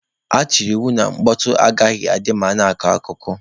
A tụbara anya na mkpọtọ agaghị adị ma a na-akọ akụkọ.